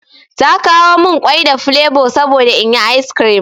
Ta kawo min ƙwai da flevo saboda inyi ice cream.